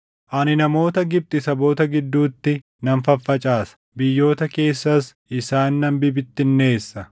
Ani namoota Gibxi saboota gidduutti nan faffacaasa; biyyoota keessas isaan nan bibittinneessa.